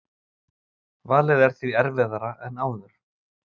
Valið er því erfiðara en áður